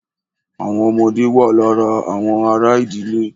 Àwọn ọmọdé wà lára àwọn ará ìdílé.